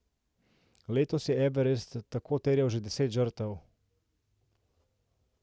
Letos je Everest tako terjal že deset žrtev.